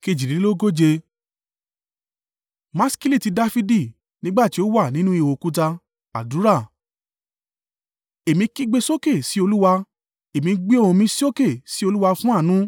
Maskili ti Dafidi. Nígbà tí ó wà nínú ihò òkúta. Àdúrà. Èmi kígbe sókè sí Olúwa; èmi gbé ohùn mi sókè sí Olúwa fún àánú.